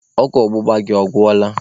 Ọgwụ ọgbụgba gị ọ gwụla?